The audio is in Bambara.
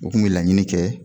O tun be laɲini kɛ